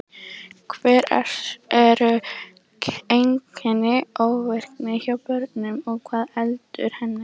Hver eru einkenni ofvirkni hjá börnum og hvað veldur henni?